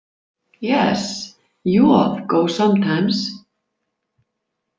Yes, joð go sometimes.